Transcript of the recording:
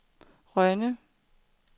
Rønne